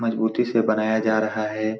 मजबूती से बनाया जा रहा है।